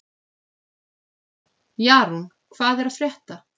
Jarún, hvað er að frétta?